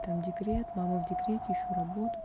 там декрет мама в декрете ищу работу